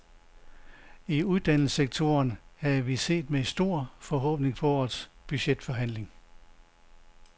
I uddannelsessektoren havde vi set med stor forhåbning på årets budgetforhandling.